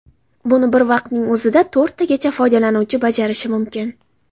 Buni bir vaqtning o‘zida to‘rttagacha foydalanuvchi bajarishi mumkin.